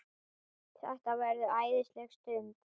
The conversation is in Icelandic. Þetta verður æðisleg stund.